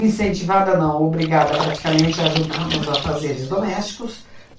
incentivada não, obrigada praticamente a ajudar nos afazeres domésticos.